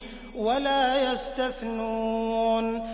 وَلَا يَسْتَثْنُونَ